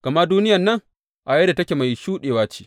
Gama duniyan nan a yadda take mai shuɗewa ce.